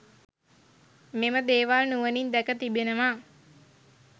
මෙම දේවල් නුවනින් දැක තිබෙනවා